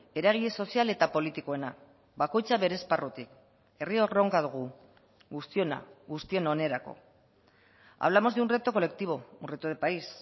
eragile sozial eta politikoena bakoitza bere esparrutik herri erronka dugu guztiona guztion onerako hablamos de un reto colectivo un reto de país